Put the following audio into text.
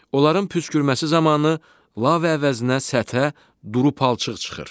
Onların püskürməsi zamanı lava əvəzinə səthə duru palçıq çıxır.